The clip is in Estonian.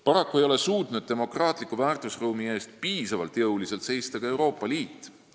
Paraku ei ole suutnud demokraatliku väärtusruumi eest piisavalt jõuliselt seista ka Euroopa Liit.